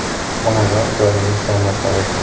“Onajon joyingiz jannatda bo‘lsin!